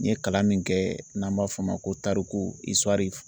N ye kalan min kɛ n'an b'a fɔ o ma ko tariku